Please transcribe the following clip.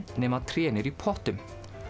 nema að trén eru í pottum